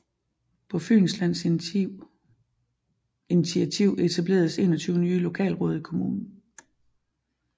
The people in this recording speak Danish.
På Fynslands initativ etableredes 21 nye lokalråd i kommunen